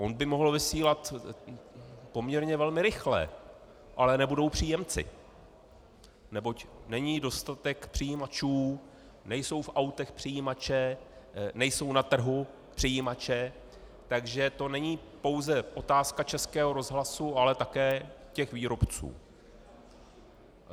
On by mohl vysílat poměrně velmi rychle, ale nebudou příjemci, neboť není dostatek přijímačů, nejsou v autech přijímače, nejsou na trhu přijímače, takže to není pouze otázka Českého rozhlasu, ale také těch výrobců.